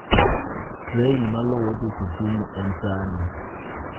Trein maluwo dhi Kisumu en saa adi?